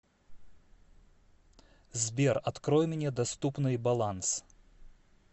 сбер открой мне доступный баланс